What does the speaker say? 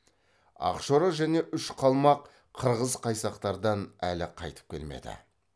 ақшора және үш қалмақ қырғыз қайсақтардан әлі қайтып келмеді